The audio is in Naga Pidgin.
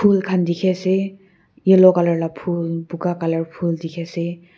phul khan dikhi ase yellow colour la phul buka colour phul dikhiase.